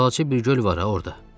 Balaca bir göl var ha orda.